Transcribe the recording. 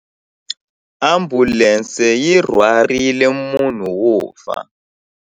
Ambulense yi rhwarile munhu wo fa.